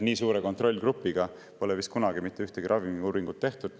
Nii suure kontrollgrupiga pole vist kunagi mitte ühtegi ravimiuuringut tehtud.